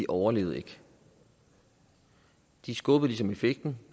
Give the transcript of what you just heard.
overlevede de skubbede ligesom effekten